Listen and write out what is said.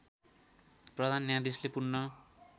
प्रधान न्यायाधीशले पूर्ण